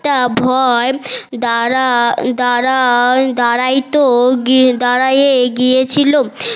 একটা ভয় দাড়া দাড়া দাঁড়াইত দাড়ায় গিয়েছিল